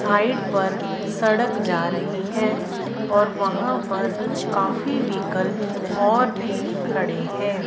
Side पर सड़क जा रही है और वहां पर काफी व्हीकल और भी खड़े हैं।